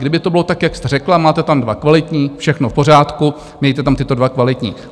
Kdyby to bylo tak, jak jste řekla, máte tam dva kvalitní, všechno v pořádku, mějte tam tyto dva kvalitní.